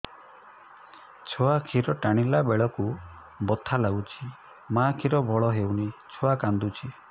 ଛୁଆ ଖିର ଟାଣିଲା ବେଳକୁ ବଥା ଲାଗୁଚି ମା ଖିର ଭଲ ହଉନି ଛୁଆ କାନ୍ଦୁଚି